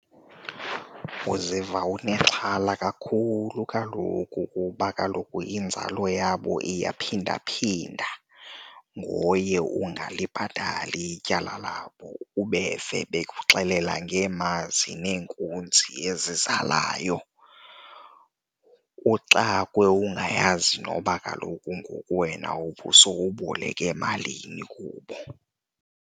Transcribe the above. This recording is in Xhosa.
Uziva unexhala kakhulu kaloku kuba kaloku inzalo yabo iyaphindaphinda ngoye ungalibhatali ityala labo. Ubeve bekuxelela ngeemazi neenkunzi ezizalayo, uxakwe ungayazi noba kaloku ngoku wena ubusowuboleke malini kubo.